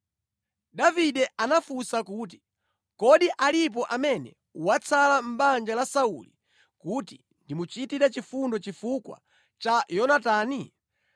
Davide anafunsa kuti, “Kodi alipo amene watsala mʼbanja la Sauli kuti ndimuchitire chifundo chifukwa cha Yonatani?”